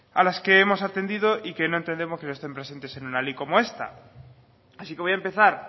a las que hemos atendido y que no entendemos que no estén presentes en una ley como esta así que voy a empezar